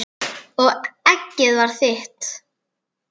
Og eggið var þitt!